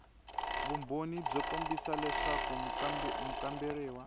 vumbhoni byo kombisa leswaku mukamberiwa